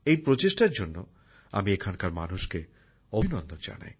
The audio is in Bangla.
এই প্রচেষ্টার জন্য আমি এখানকার মানুষকে অভিনন্দন জানাই